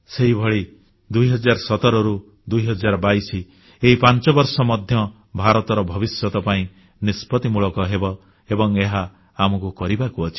ସେହିଭଳି 2017ରୁ 2022 ଏହି ପାଞ୍ଚବର୍ଷ ମଧ୍ୟ ଭାରତର ଭବିଷ୍ୟତ ପାଇଁ ନିଷ୍ପତ୍ତିମୂଳକ ହେବ ଏବଂ ଏହା ଆମକୁ କରିବାକୁ ଅଛି